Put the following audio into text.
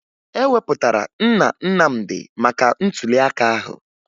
E wepụtara Nna Nnamdị maka ntụliaka ahụ